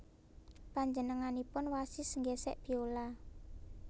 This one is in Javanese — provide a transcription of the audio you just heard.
Panjenenganipun wasis nggésék biola